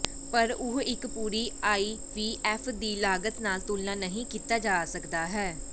ਪਰ ਉਹ ਇੱਕ ਪੂਰੀ ਆਈਵੀਐਫ ਦੀ ਲਾਗਤ ਨਾਲ ਤੁਲਨਾ ਨਹੀ ਕੀਤਾ ਜਾ ਸਕਦਾ ਹੈ